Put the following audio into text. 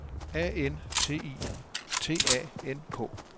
A N T I T A N K